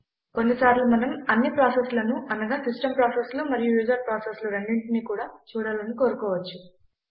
కొన్నిసార్లు మనం అన్ని ప్రాసెస్లను అనగా సిస్టమ్ ప్రాసెస్లు మరియు యూజర్ ప్రాసెస్లు రెండిటినీ కూడా చూడాలని కోరుకోవచ్చు